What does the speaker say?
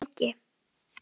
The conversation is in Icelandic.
Þegir lengi.